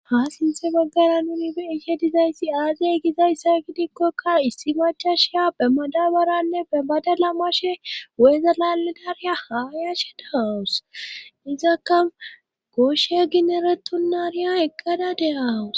ha sinse baggara nuni be iishe dizayssi aazey gizayssa gidikkokka issi machashia be madabaranne be bada lamashe weezelaledariya haa yashe dahaawus izakka gooshe gineretonnariya eqqada deawus